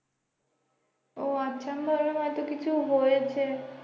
ও আচ্ছা আমি ভাবলাম হয়তো কিছু হয়েছে